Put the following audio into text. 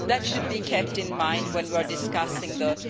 That should be kept in mind when we are discussing the